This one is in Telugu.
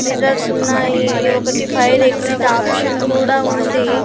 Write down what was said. మిర్రర్స్ ఉన్నాయి ఒకటి ఫైర్ ఎక్సిట్ ఆప్షన్ కూడా ఉంది.